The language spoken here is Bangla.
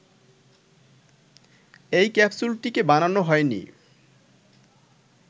এই ক্যাপসুলটিকে বানানো হয়নি